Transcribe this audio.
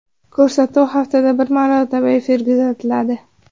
Ko‘rsatuv haftada bir marotaba efirga uzatiladi.